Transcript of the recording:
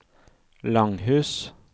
Langhus